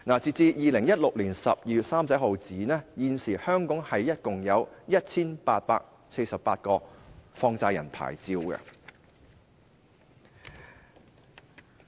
截至2016年12月31日，香港現時共有 1,848 個放債人牌照。